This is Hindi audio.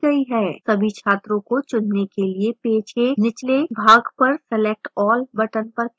सभी छात्रों को चुनने के लिए पेज के निचले भाग पर select all button पर click करें